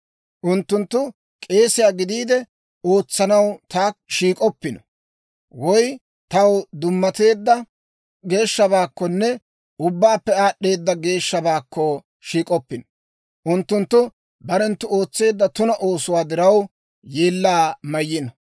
Unttunttu k'eesiyaa gidiide ootsanaw taakko shiik'oppino; woy taw dummateedda geeshshabaakkonne ubbaappe aad'd'eeda geeshshabaakko shiik'oppino. Unttunttu barenttu ootseedda tuna oosuwaa diraw, yeellaa mayno.